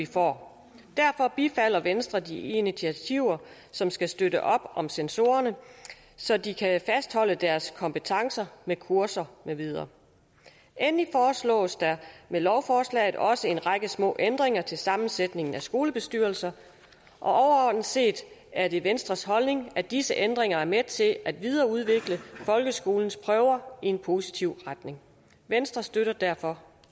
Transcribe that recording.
får derfor bifalder venstre de initiativer som skal støtte op om censorerne så de kan fastholde deres kompetencer med kurser med videre endelig foreslås der med lovforslaget også en række små ændringer til sammensætningen af skolebestyrelser overordnet set er det venstres holdning at disse ændringer er med til at videreudvikle folkeskolens prøver i en positiv retning venstre støtter derfor